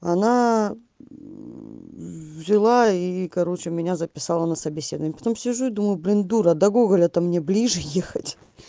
она жила и короче меня записала на собеседование потом сижу и думаю блин дура да гоголя то мне ближе ехать